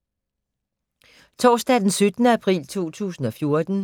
Torsdag d. 17. april 2014